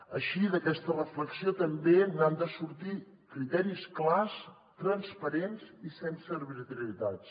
així d’aquesta reflexió també n’han de sortir criteris clars transparents i sense arbitrarietats